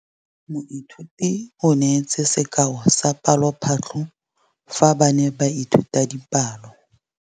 Moithuti o neetse sekaô sa palophatlo fa ba ne ba ithuta dipalo.